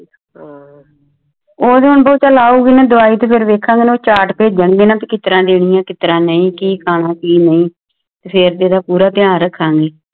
ਹਮ ਓਹ ਤੇ ਹੁਣ ਉਹ ਬੁ ਔਗੀ ਦਵਾਈ ਤਾ ਫਿਰ ਦਿਖਾਗਏ ਚਾਰਟ ਭੇਜਣ ਗੇ ਨਾ ਤੇ ਫਿਰਕਿਸ ਤਰਾ ਦਿਨੀ ਆ ਕਿਸ ਤਰਾ ਨਹੀ ਕੀ ਖਾਨਾ ਆ ਕੀ ਨਹੀ ਫਿਰ ਇਹਦਾ ਪੂਰਾ ਟੀਂ ਰ੍ਖਾਗਏ